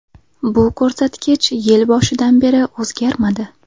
Bu ko‘rsatkich yil boshidan beri o‘zgarmadi.